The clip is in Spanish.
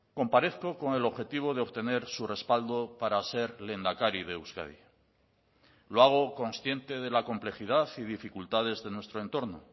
comparezco con el objetivo de obtener su respaldo para ser lehendakari de euskadi lo hago consciente de la complejidad y dificultades de nuestro entorno